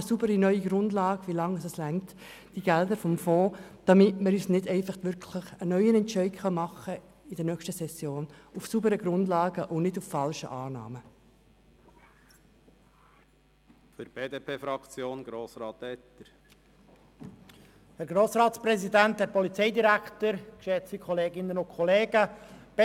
Schaffen Sie eine klare Grundlage, und zeigen Sie auf, wie lange die Fondsgelder noch reichen werden, damit wir in der nächsten Session einen neuen Entscheid aufgrund sauberer Grundlagen und nicht falscher Annahmen fällen können.